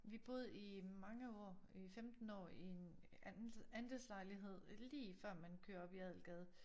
Vi boede i mange år øh 15 år i en andelslejlighed lige før man kører op i Adelgade